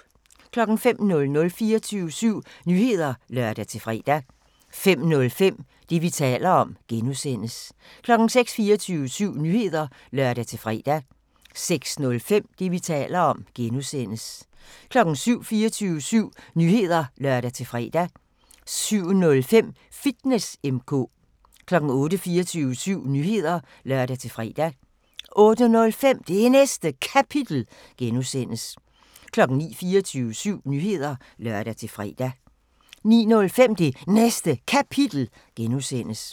05:00: 24syv Nyheder (lør-fre) 05:05: Det, vi taler om (G) 06:00: 24syv Nyheder (lør-fre) 06:05: Det, vi taler om (G) 07:00: 24syv Nyheder (lør-fre) 07:05: Fitness M/K 08:00: 24syv Nyheder (lør-fre) 08:05: Det Næste Kapitel (G) 09:00: 24syv Nyheder (lør-fre) 09:05: Det Næste Kapitel (G)